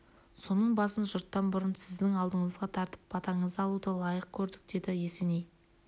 соның басын жұрттан бұрын сіздің алдыңызға тартып батаңызды алуды лайық көрдік деді есеней